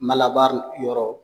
yɔrɔ